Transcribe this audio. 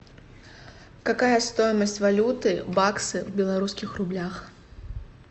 какая стоимость валюты баксы в белорусских рублях